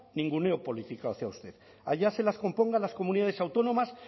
ninguneo político hacia usted allá se las compongan las comunidades autónomas